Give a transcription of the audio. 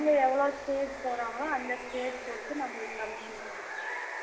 அவங்க எவளோ stage போராங்களோ அந்த stage பொறுத்து நம்மளுக்கு commission வரும்